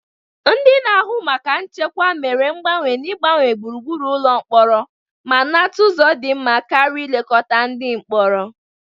Ndị na-ahụ maka nchekwa mere mgbanwe n'ịgbanwe gburugburu ụlọ mkpọrọ ma nata ụzọ dị mma karịa nlekọta ndị mkpọrọ.